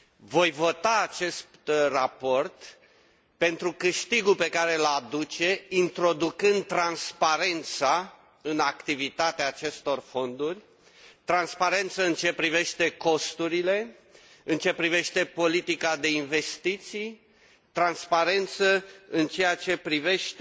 Voi vota acest raport pentru câștigul pe care îl aduce introducând transparența în activitatea acestor fonduri, transparență în ceea ce privește costurile, în ceea ce privește politica de investiții, transparență în ceea ce privește